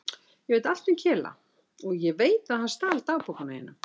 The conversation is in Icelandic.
Ég veit allt um Kela og ég veit að hann stal dagbókunum þínum.